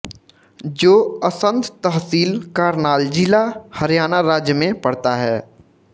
जो असंध तहसील करनाल जिला हरियाणा राज्य में पडता है